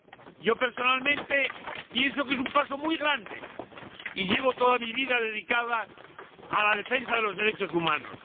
Yo personalmente pienso que es un paso muy grande y llevo toda mi vida dedicada a la defensa de los derechos humanos.